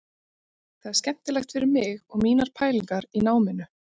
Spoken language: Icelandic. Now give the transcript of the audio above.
Það er skemmtilegt fyrir mig og mínar pælingar í náminu.